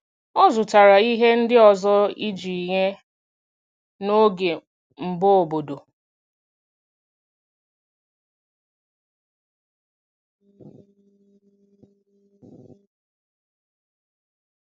Ọ zụtara ihe ndị ọzọ iji nye n’oge mbọ obodo.